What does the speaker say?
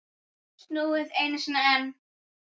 Snúið einu sinni.